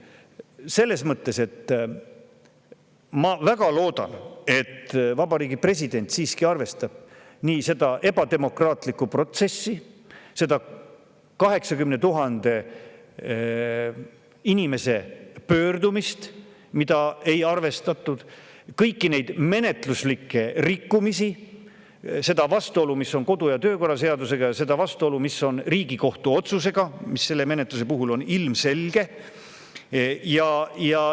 Selles mõttes ma väga loodan, et Vabariigi President siiski arvestab selle protsessi ebademokraatlikkust, seda 80 000 inimese pöördumist, mida ei arvestatud, kõiki neid menetluslikke rikkumisi, seda vastuolu, mis on kodu- ja töökorra seadusega, ja seda vastuolu, mis on Riigikohtu otsusega, mis selle menetluse puhul on ilmselge.